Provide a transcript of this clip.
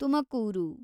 Tumakuru